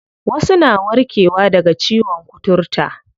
Wasu na warke wa daga ciyon kuturta.